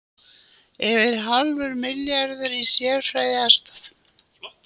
Yfir hálfur milljarður í sérfræðiaðstoð